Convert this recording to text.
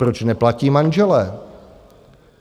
Proč neplatí manželé?